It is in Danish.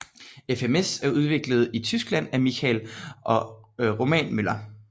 FMS er udviklet i Tyskland af Michael og Roman Möller